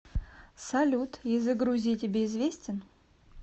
салют язык грузии тебе известен